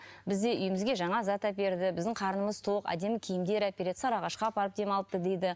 бізде үйімізге жаңа зат әперді біздің қарнымыз тоқ әдемі киімдер әпереді сарыағашқа апарды демалтты дейді